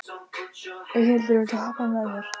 Eyhildur, viltu hoppa með mér?